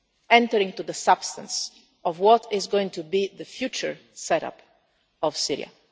entering into the substance of what is going to be the future set up of Syria.